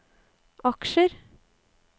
aksjer